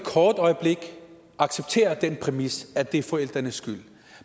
kort øjeblik accepterer den præmis at det er forældrenes skyld